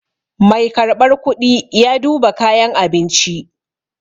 Mai karɓar kuɗi ya duba kayan abinci.